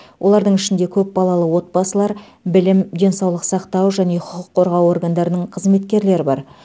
олардың ішінде көпбалалы отбасылар білім денсаулық сақтау және құқық қорғау органдарының қызметкерлері бар